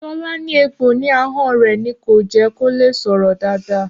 Ṣọlá ní egbò ní ahọ́n rẹ̀ ni kò jẹ́ kó lè sọ̀rọ̀ dáadáa